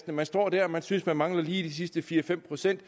man står der og man synes man lige mangler de sidste fire fem procent